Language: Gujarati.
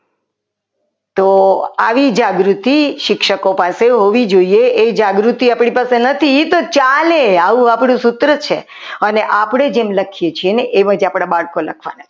તો આવી જાગૃતિ શિક્ષકો પાસે હોવી જોઈએ એ જાગૃતિ પણ નથી એ એ ચાલે આવું આપણું સૂત્ર છે અને આપણે જેમ લખીએ છીએ એમાંથી આપણા બાળકો લખવાના છે.